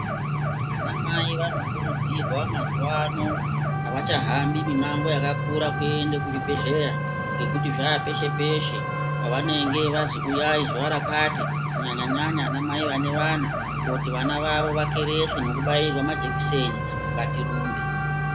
Ana mai vamokurudzirwa mazuva ano hawachahambi mimango yakakura kuenda kuzvibhedhlera ngekuti zvaa peshe peshe pawanenge vanzi uyai zuva rakati kunyanya nyanya ana mai vane vana kuti vana vawo vakereswe nekubairwa majekiseni ngatirumbe.